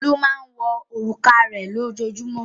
Olú máa ń wọ òrùka rẹ̀ lójoojúmọ́.